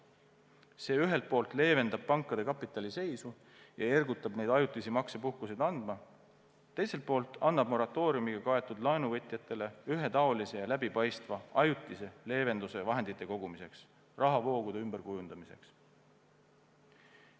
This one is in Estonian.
See ühelt poolt leevendab pankade kapitaliseisu ja ergutab neid ajutisi maksepuhkuseid andma, teiselt poolt annab see moratooriumiga kaetud laenuvõtjatele ühetaolise ja läbipaistva ajutise leevenduse vahendite kogumiseks ja rahavoogude ümberkujundamiseks.